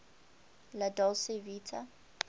la dolce vita